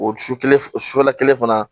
O su kelen su la kelen fana